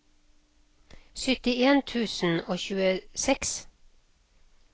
syttien tusen og tjueseks